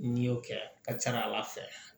N'i y'o kɛ a ka ca ala fɛ